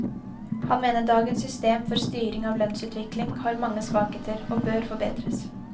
Han mener dagens system for en styring av lønnsutviklingen har mange svakheter, og bør forbedres.